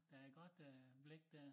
Der er godt øh blik dér